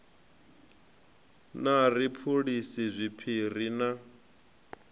na ri phulisa zwiphiri na